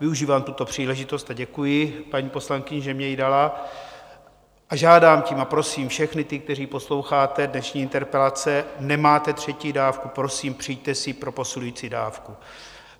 Využívám tuto příležitost a děkuji paní poslankyni, že mně ji dala, a žádám tím a prosím všechny ty, kteří posloucháte dnešní interpelace, nemáte třetí dávku, prosím, přijďte si pro posilující dávku.